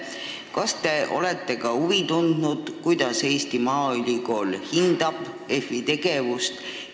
Kas te olete huvi tundnud, kuidas Eesti Maaülikool hindab EFI tegevust?